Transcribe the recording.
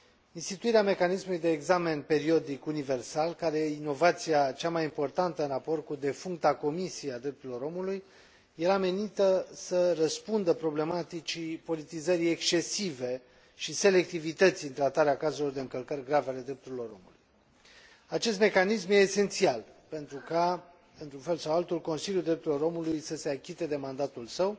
Instituirea mecanismului de examen periodic universal, care este inovația cea mai importantă în raport cu defuncta Comisie a Drepturilor Omului, era menită să răspundă problematicii, politizării excesive și selectivității în tratarea cazurilor de încălcări grave ale drepturilor omului. Acest mecanism este esențial pentru ca, într un fel sau altul, Consiliul Drepturilor Omului să se achite de mandatul său.